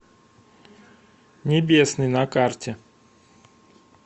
небесный на карте